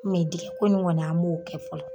dingɛ ko ni kɔni an m'o kɛ fɔlɔ.